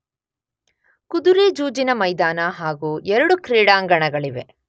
ಕುದುರೆ ಜೂಜಿನ ಮೈದಾನ ಹಾಗೂ ಎರಡು ಕ್ರೀಡಾಂಗಣಗಳಿವೆ.